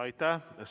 Aitäh!